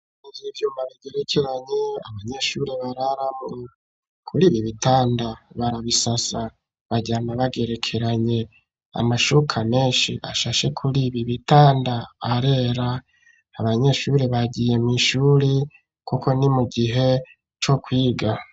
Ibi vyuma bigerekeranye, abanyeshuri bararamu, kuri ibi bitanda, barabisasa baryama bagerekeranye amashuka menshi ashashe kuri ibi bitanda, arera abanyeshuri bagiye mw' ishuri kuko ni mu gihe co kwiga.